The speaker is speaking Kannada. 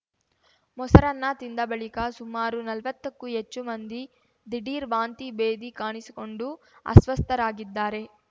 ಮೊಸರನ್ನ ತಿಂದ ಬಳಿಕ ಸುಮಾರು ನಲ್ವತ್ತಕ್ಕೂ ಹೆಚ್ಚು ಮಂದಿ ದಿಢೀರ್‌ ವಾಂತಿ ಭೇದಿ ಕಾಣಿಸಿಕೊಂಡು ಅಸ್ವಸ್ಥರಾಗಿದ್ದಾರೆ